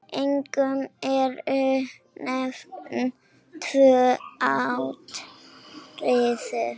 Einkum eru nefnd tvö atriði.